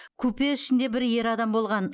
купе ішінде бір ер адам болған